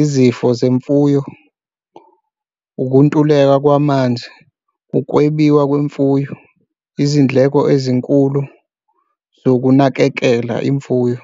izifo zemfuyo, ukuntuleka kwamanzi, ukwebiwa kwemfuyo, izindleko ezinkulu zokunakekela imfuyo.